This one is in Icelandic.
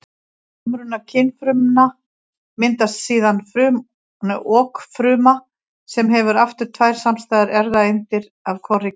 Við samruna kynfrumna myndast síðan okfruma sem hefur aftur tvær samstæðar erfðaeindir af hvorri gerð.